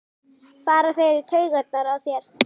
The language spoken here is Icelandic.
fara þeir í taugarnar á þér?